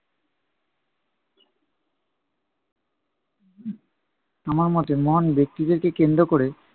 আমার মতে মহান ব্যক্তিদেরকে কেন্দ্র কোরে